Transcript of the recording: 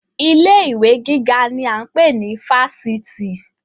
Ilé ìwé gíga ni a ń pè ní Fáṣítì